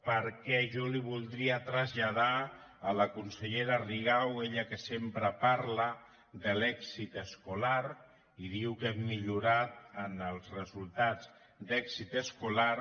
perquè jo li voldria tras·lladar a la consellera rigau ella que sempre parla de l’èxit escolar i diu que hem millorat en els resultats d’èxit escolar